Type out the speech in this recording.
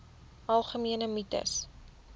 algemene mites